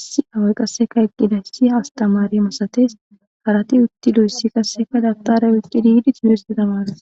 issi away qasseka eqqida hissi hastamari masatees harati uttidoyssi qasseka Dabtara oyqqidii yidi timirte tamarosona.